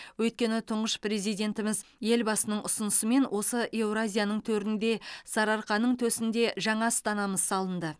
өйткені тұңғыш президентіміз елбасының ұсынысымен осы еуразияның төрінде сарыарқаның төсінде жаңа астанамыз салынды